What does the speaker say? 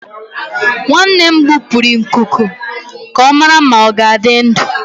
Nwanne m gbupụrụ nkuku ka ọ mara ma ọ ga-adị ndụ.